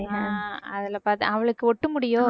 ஆஹ் அதுல பாத்தேன் அவளுக்கு ஒட்டு முடியோ